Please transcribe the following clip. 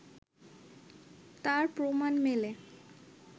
তার প্রমাণ মেলে